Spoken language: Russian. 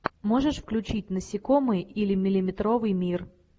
можешь включить насекомые или миллиметровый мир